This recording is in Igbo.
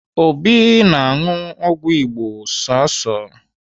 Obi na-aṅụ ọgwụ Igbo sọsọ.